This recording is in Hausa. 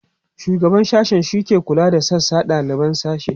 shugaban sashe shike kulawa da sashe da daliban sashe